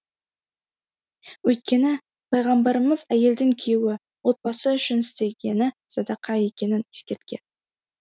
өйткені пайғамбарымыз әйелдің күйеуі отбасы үшін істегені садақа екенін ескерткен